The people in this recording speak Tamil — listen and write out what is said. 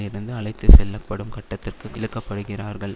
இருந்து அழைத்துச்செல்லப்படும் கட்டத்திற்கு இழுக்கப்படுகிறார்கள்